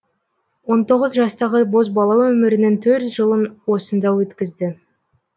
он тоғыз жастағы бозбала өмірінің төрт жылын осында өткізді